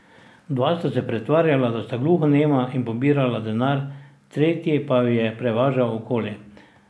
Dva sta se pretvarjala, da sta gluhonema in pobirala denar, tretji pa ju je prevažal okoli.